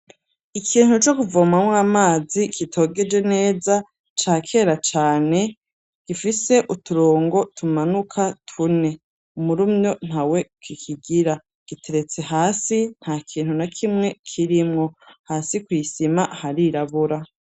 Ikintu co kuvomamwo amazi kitogeje neza ca kera cane gifise uturongo tumanuka tune, umurumyo ntawe kikigira giteretse hasi nta kintu na kimwe kirimwo hasi kw'isima harirabura.